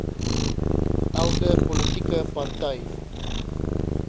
elke politieke party